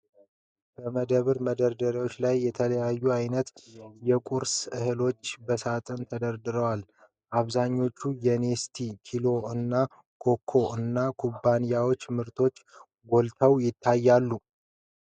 በመደብር መደርደሪያዎች ላይ የተለያዩ አይነት የቁርስ እህሎች በሳጥኖች ተደርድረዋል። አብዛኛዎቹ የ"Nestle"፣ "ኪሎ" እና "ኮኮ" እና ኩባንያዎች ምርቶች ጎልተው ይታያሉ ።